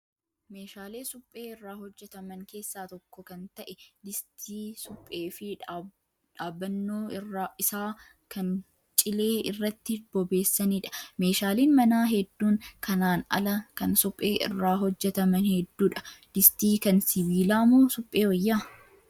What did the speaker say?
Meeshaalee suphee irraa hojjataman keessaa tokko kan ta'e distii suphee fi dhaabbannoo isaa kan cilee irratti bobeessanidha. Meeshaaleen manaa hedduun kanaan ala kan suphee irraa hojjataman hedduudha. Distii kan sibiilaa moo suphee wayyaa?